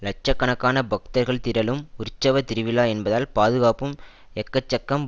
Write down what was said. லட்ச கணக்கான பக்தர்கள் திரளும் உற்சவ திருவிழா என்பதால் பாதுகாப்பும் எக்கச்சக்கம்